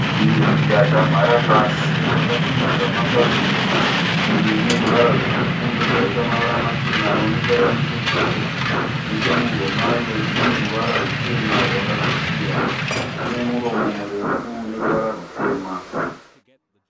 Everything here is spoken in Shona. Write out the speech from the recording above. Shiri yakamhara pasi yakasimudza mapapiro. Shiri ineruvara rutsvuku yobva yaita mavara machena anoonekera nechekure . Nechemuhuro mayo ineruvara ruchena rwakatsvukira. Ine muromo murefu uneruvara rutema.